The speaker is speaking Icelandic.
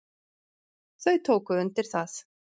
Þau tóku undir það.